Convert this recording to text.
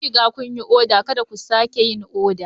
Kun riga kun yi oda, Kada ku sake yin oda.